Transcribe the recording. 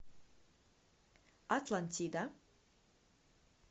атлантида